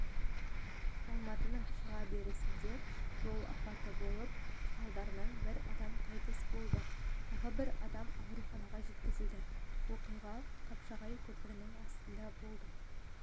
алматының шыға берісінде жол апаты болып салдарынан бір адам қайтыс болды тағы бір адам ауруханаға жеткізілді оқиға қапшағай көпірінің астында болды